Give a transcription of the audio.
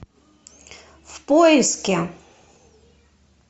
в поиске